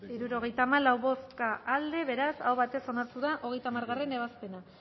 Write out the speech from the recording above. izan da hirurogeita hamalau eman dugu bozka hirurogeita hamalau boto aldekoa beraz aho batez onartu da hogeita hamargarrena ebazpena